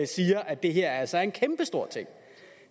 siger at det her altså er en kæmpestor ting